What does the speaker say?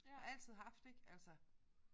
Og altid haft ik altså